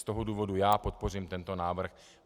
Z toho důvodu já podpořím tento návrh.